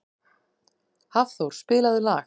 Hafþór, spilaðu lag.